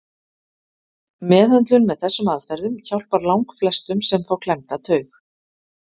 meðhöndlun með þessum aðferðum hjálpar langflestum sem fá klemmda taug